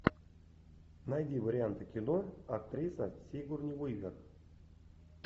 найди варианты кино актриса сигурни уивер